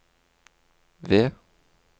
V